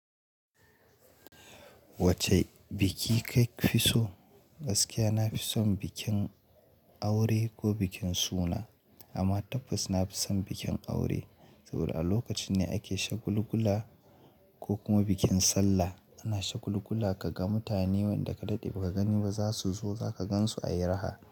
Wacce biki ka fi so? Gaskiya na fi son bikin aure ko bikin suna. Amma tabbas na fi son bikin aure. Saboda a lokacin ne ake shagulgula ko kuma bikin sallah ana shagulgula ka ga mutane wanda ka daɗe ba ka gani ba za su zo za ka gan su a yi raha.